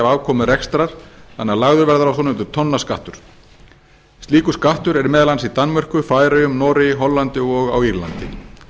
afkomu rekstrar þannig að lagður verði á svonefndur tonnaskattur slíkur skattur er meðal annars í danmörku færeyjum noregi hollandi og á írlandi